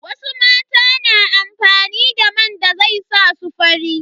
Wasu mata na amfani da man da zai sa su fari.